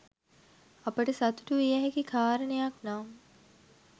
අපට සතුටු විය හැකි කරණයක් නම්